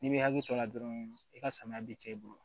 N'i bɛ hakili to a la dɔrɔn i ka samiya bi cɛ i bolo